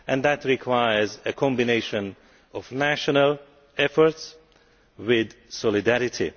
That requires a combination of national efforts with solidarity.